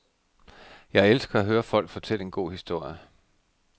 Jeg elsker at høre folk fortælle en god historie.